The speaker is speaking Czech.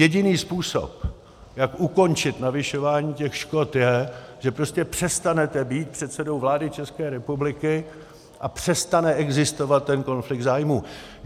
Jediný způsob, jak ukončit navyšování těch škod, je, že prostě přestanete být předsedou vlády České republiky a přestane existovat ten konflikt zájmů.